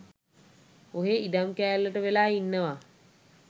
ඔහේ ඉඩම් කෑල්ලට වෙලා ඉන්නවා.